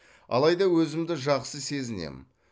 алайда өзімді жақсы сезінемін